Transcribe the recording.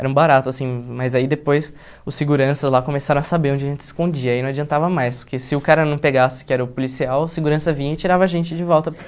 Era um barato, assim, mas aí depois os seguranças lá começaram a saber onde a gente se escondia, aí não adiantava mais, porque se o cara não pegasse que era o policial, o segurança vinha e tirava a gente de volta para o